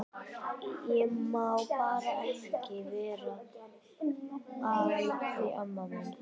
Ég má bara ekki vera að því amma mín.